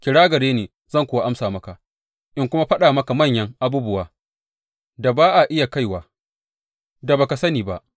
Kira gare ni zan kuwa amsa maka in kuma faɗa maka manyan abubuwan da ba a iya kaiwa, da ba ka sani ba.’